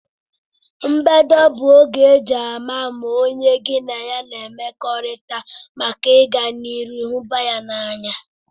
mbedo bu oge eji ama ma onye gi na ya n'emekorita maka iga na iru hubaya n'anya